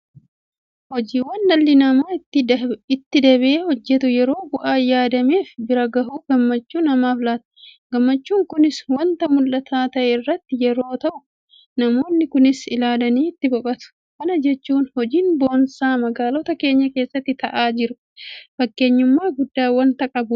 Hojiiwwan dhalli namaa itti dabee hojjetu yeroo bu'aa yaadameef bira gahu gammachuu namaaf laata. Gammachuun kunis waanta mul'ataa ta'e irratti yeroo ta'u namoonni kaanis ilaalanii itti boqotu. Kana jechuun hojiin boonsaa magaalota keenya keessatti ta'aa jiru fakkeenyummaa guddaa waanta qabudha.